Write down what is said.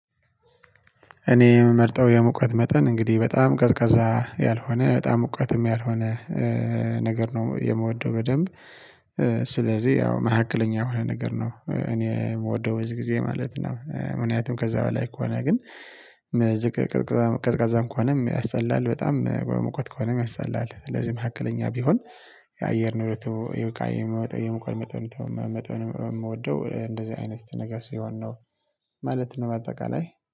እኔ የምመርጠው የሙቀት መጠን እንግዲህ በጣም ቀዝቃዛ ያልሆነ በጣም ሙቀትም ያልሆነ ነገር ነው የምወደው በደንብ። ስለዚህ ያው መካከለኛ የሆነ ነገር ነው እኔ የምወደው በዚህ ጊዜ ማለት ነው። ምክንያቱም ከዛ በላይ ከሆነ ግን። ቀዝቃዛ ቀዝቃዛም ከሆነም ያስጠላል በጣም በሙቀት ከሆነም ያሰጠላል ስለዚህ መካከለኛ ቢሆን። የአየር ንብረቱ ከአየር ይሚወጣ የሙቀት መጠን የምወደው እንደዚህ አይነት ነገር ሲሆን ነው። ማለት ነው በአጠቃላይ